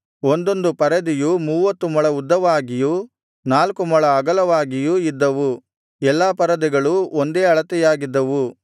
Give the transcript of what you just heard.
ಒಂದೊಂದು ಪರದೆಯು ಮೂವತ್ತು ಮೊಳ ಉದ್ದವಾಗಿಯೂ ನಾಲ್ಕು ಮೊಳ ಅಗಲವಾಗಿಯೂ ಇದ್ದವು ಎಲ್ಲಾ ಪರದೆಗಳೂ ಒಂದೇ ಅಳತೆಯಾಗಿದ್ದವು